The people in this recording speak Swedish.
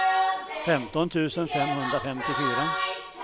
femton tusen femhundrafemtiofyra